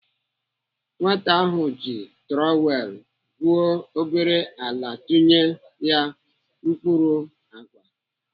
Nwata ahụ ji trowelụ gwuo obere ala tinye ya mkpụrụ àgwà.